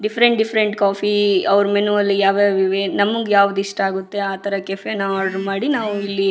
different different coffee ಅವ್ರ್ menu ಅಲ್ಲಿ ಯಾವ್ ಯಾವ ಇವೆ ನಮಗೆ ಯಾವ್ದ್ ಇಷ್ಟ ಆಗುತ್ತೆ ಆತರ ಕೆಫೆನ ಆರ್ಡರ್ ಮಾಡಿ ನಾವು ಇಲ್ಲಿ --